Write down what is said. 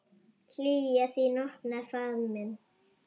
Hlýja þín opnar faðm minn.